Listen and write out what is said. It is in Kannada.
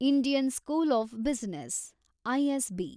Indian school of business, ISB